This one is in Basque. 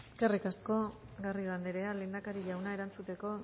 eskerrik asko garrido anderea lehendakari jauna erantzuteko